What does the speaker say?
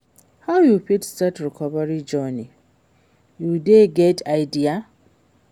how you fit start recovery journey, you get any idea?